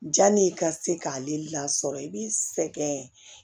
Janni i ka se k'ale lasɔrɔ i b'i sɛgɛn